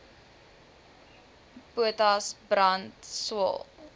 potas brand swael